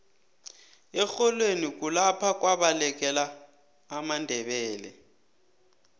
erholweni kulapha kwabalekela amandebele